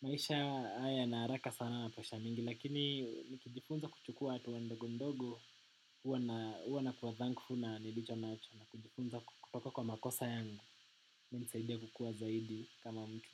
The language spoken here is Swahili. Maisha haya na haraka sana na pesa mingi lakini nikijifunza kuchukua hatua ndogo ndogo huwa na kuwa thankful na nilicho nacocho na kujifunza kutoka kwa makosa yangu unisaidia kukua zaidi kama mtu.